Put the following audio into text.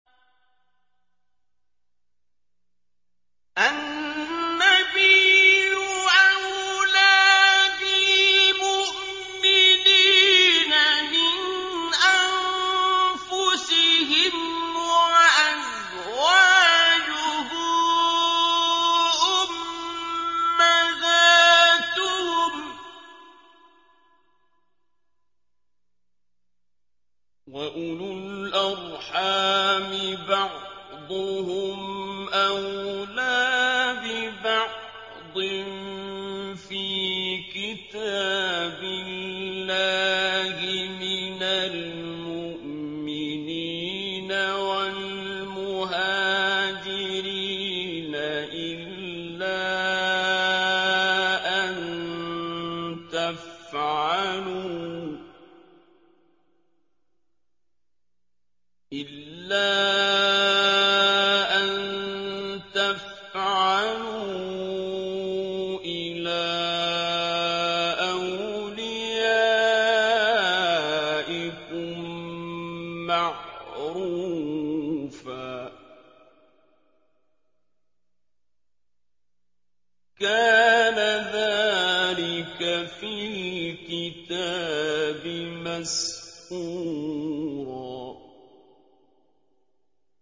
النَّبِيُّ أَوْلَىٰ بِالْمُؤْمِنِينَ مِنْ أَنفُسِهِمْ ۖ وَأَزْوَاجُهُ أُمَّهَاتُهُمْ ۗ وَأُولُو الْأَرْحَامِ بَعْضُهُمْ أَوْلَىٰ بِبَعْضٍ فِي كِتَابِ اللَّهِ مِنَ الْمُؤْمِنِينَ وَالْمُهَاجِرِينَ إِلَّا أَن تَفْعَلُوا إِلَىٰ أَوْلِيَائِكُم مَّعْرُوفًا ۚ كَانَ ذَٰلِكَ فِي الْكِتَابِ مَسْطُورًا